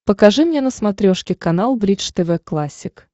покажи мне на смотрешке канал бридж тв классик